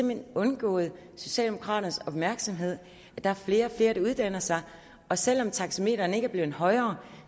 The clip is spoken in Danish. hen undgået socialdemokraternes opmærksomhed at der er flere og flere der uddanner sig og selv om taxametrene ikke er blevet højere